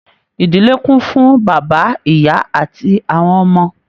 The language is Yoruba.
Ìdílé kún fún bàbá, ìyá àti àwọn ọmọ.